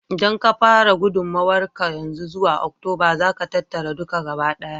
Idan ka fara gudummawar ka yanzu, zuwa Oktoba za ka tattara duka gabaɗaya.